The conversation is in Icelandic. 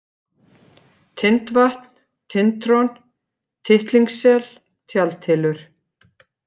Tindvatn, Tintron, Tittlingssel, Tjaldhylur